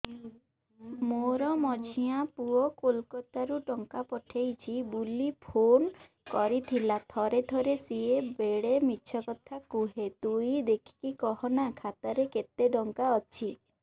ମୋର ମଝିଆ ପୁଅ କୋଲକତା ରୁ ଟଙ୍କା ପଠେଇଚି ବୁଲି ଫୁନ କରିଥିଲା ଥରେ ଥରେ ସିଏ ବେଡେ ମିଛ କଥା କୁହେ ତୁଇ ଦେଖିକି କହନା ଖାତାରେ କେତ ଟଙ୍କା ଅଛି